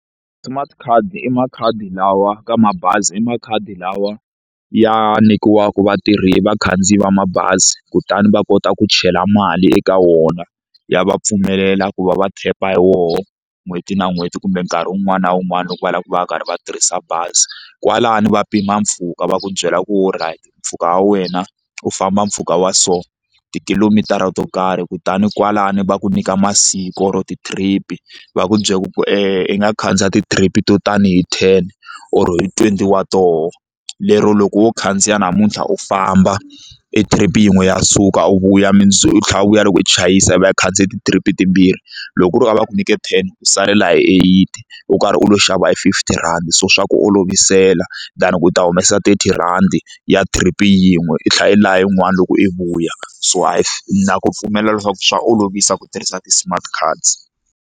Smart card i makhadi lawa ka mabazi i makhadi lawa ya nyikiwaka vatirhi vakhandziyi va mabazi kutani va kota ku chela mali eka wona ya va pfumelela ku va va tap-a hi wona n'hweti na n'hweti kumbe nkarhi wun'wani na wun'wani loko va lava ku va va karhi va tirhisa bazi kwalano va pima mpfhuka va ku byela ku alright mpfhuka wa wena u famba mpfhuka wa so ti-kilomitara to karhi kutani kwalano va ku nyika masiku or ti-trip-i va ku byela ku i nga khandziya ti-trip to tani hi ten or hi twenty wa tona lero loko wo khandziya namuntlha u famba i trip yin'we ya suka u vuya mundzuku u tlhela u vuya loko u chayisa i va i khandziye ti-trip timbirhi loko ku ri a va ku nyike ten u salela hi eight u karhi u lo xava fifty rhandi so swa ku olovisela than ku u ta humesa thirty rhandi ya trip yin'we i tlhela i la yin'wana loko i vuya so hayi hi na ku pfumelela leswaku swa olovisa ku tirhisa ti-smart cards.